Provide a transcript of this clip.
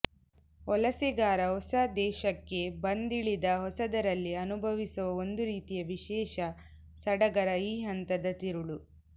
ವಲಸೆಗಾರ ಹೊಸ ದೇಶಕ್ಕೆ ಬಂದಿಳಿದ ಹೊಸದರಲ್ಲಿ ಅನುಭವಿಸುವ ಒಂದು ರೀತಿಯ ವಿಶೇಷ ಸಡಗರ ಈ ಹಂತದ ತಿರುಳು